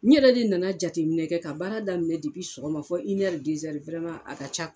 N yɛrɛ de nana jateminɛ kɛ ka baara daminɛ sɔgɔma fo a ka ca